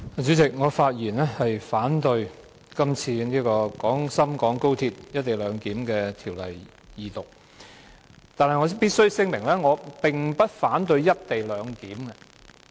主席，我發言反對《廣深港高鐵條例草案》二讀，但我必須聲明我並不反對"一地兩檢"。